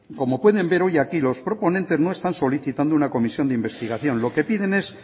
como pueden ver hoy aquí los proponentes no están solicitando una comisión de investigación lo que piden es